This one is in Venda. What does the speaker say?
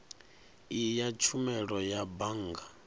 iyi ya tshumelo ya bannga